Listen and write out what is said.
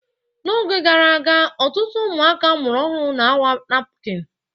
N'oge gara aga, ọtụtụ ụmụaka amụrụ ọhụrụ na-awa napkini.